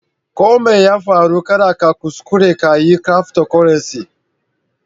Ko Mai ya farru, kada ka kuskure ka yi cryftocurrency.